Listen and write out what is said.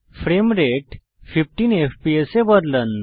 frame rate 15 FPS এ বদলান